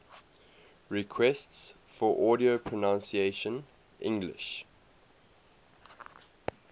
requests for audio pronunciation english